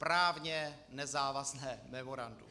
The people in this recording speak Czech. Právně nezávazné memorandum.